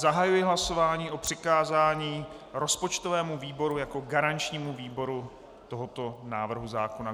Zahajuji hlasování o přikázání rozpočtovému výboru jako garančnímu výboru tohoto návrhu zákona.